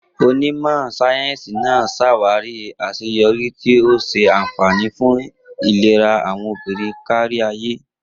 Onímọ̀ sáyẹ́sì náà ṣàwárí àṣeyọrí, tí ó ń ṣe àfààní fún ìlera àwọn obìnrin kárí ayé.